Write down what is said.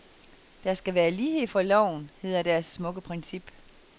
Der skal være lighed for loven, hedder deres smukke princip.